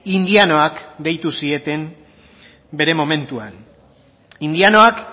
indianoak deitu zieten bere momentuan indianoak